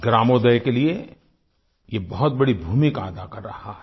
ग्रामोदय के लिए ये बहुत बड़ी भूमिका अदा कर रहा है